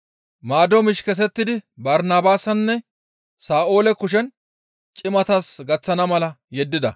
Maado miish kesettidi Barnabaasanne Sa7oole kushen cimatas gaththana mala yeddida.